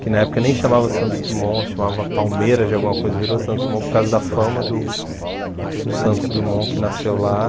que na época nem chamava Santos Dumont, chamava Palmeiras de alguma coisa, virou Santos Dumont por causa da fama do do Santos Dumont que nasceu lá.